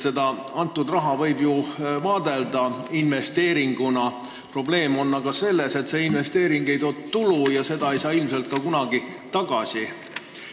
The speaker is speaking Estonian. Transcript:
Seda raha võib ju vaadelda investeeringuna, aga probleem on selles, et see investeering ei too tulu ja seda raha ei saa ilmselt kunagi tagasi.